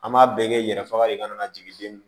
An b'a bɛɛ kɛ yɛrɛ faga de ka na jigin